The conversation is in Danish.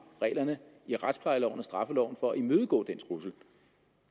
reglerne i retsplejeloven og straffeloven for at imødegå den trussel